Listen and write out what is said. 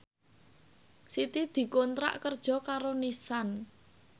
Siti dikontrak kerja karo Nissan